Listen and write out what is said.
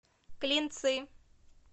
клинцы